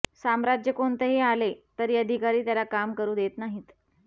साम्राज्य कोणतेही आले तरी अधिकारी त्याला काम करू देत नाहीत